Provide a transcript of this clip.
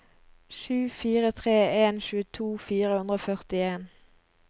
sju fire tre en tjueto fire hundre og førtien